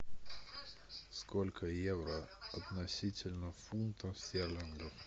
сколько евро относительно фунтов стерлингов